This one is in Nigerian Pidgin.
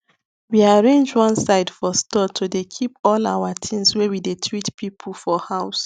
we arrange one side for store to dey keep all our things wey we dey treat people for house